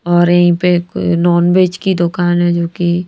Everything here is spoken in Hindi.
और यहीं पे को अ नॉनवेज की दुकान है जोकि--